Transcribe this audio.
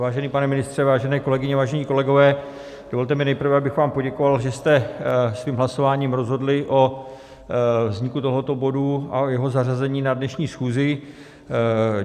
Vážený pane ministře, vážené kolegyně, vážení kolegové, dovolte mi nejprve, abych vám poděkoval, že jste svým hlasováním rozhodli o vzniku tohoto bodu a jeho zařazení na dnešní schůzi.